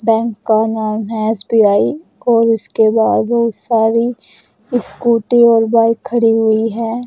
Bank का नाम है एस_बी_आई और इसके बाहर बहुत सारी स्कूटी और बाइक खड़ी हुई है।